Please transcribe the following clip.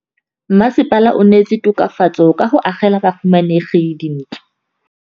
Mmasepala o neetse tokafatsô ka go agela bahumanegi dintlo.